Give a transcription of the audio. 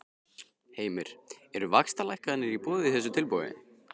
Heimir: Eru vaxtalækkanir í boði í þessu tilboði?